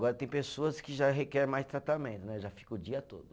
Agora tem pessoas que já requer mais tratamento né, já fica o dia todo.